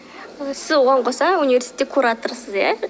сіз оған қоса университетте кураторсыз иә